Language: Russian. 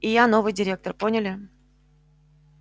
и я новый директор поняли